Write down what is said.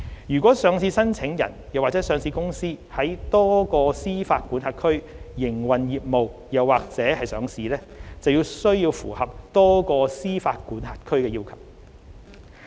若上市申請人或上市公司在多個司法管轄區營運業務及/或上市，則須符合多個司法管轄區的要求。